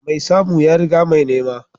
Mai samu ya riga mai nema